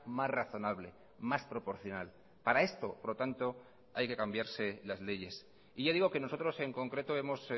más razonable más proporcional para esto por lo tanto hay que cambiarse las leyes y ya digo que nosotros en concreto hemos